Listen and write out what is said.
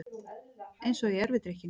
Eins og í erfidrykkjunni.